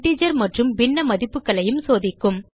integer மற்றும் பின்ன மதிப்புகளையும் சோதிக்கும்